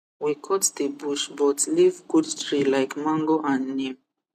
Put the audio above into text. we cut the bush but leave good tree like mango and neem